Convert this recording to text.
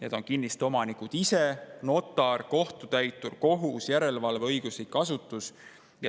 Need on kinnistuomanikud ise, notar, kohtutäitur, kohus ja järelevalveõiguslik asutus.